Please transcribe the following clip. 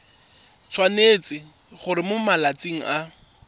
tshwanetse gore mo malatsing a